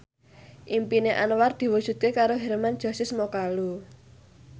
impine Anwar diwujudke karo Hermann Josis Mokalu